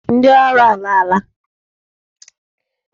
Ndị ọrụ alaala.